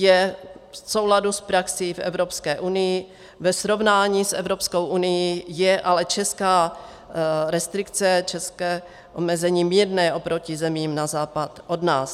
Je v souladu s praxí v Evropské unii, ve srovnání s Evropskou unií je ale česká restrikce, české omezení mírné oproti zemím na západ od nás.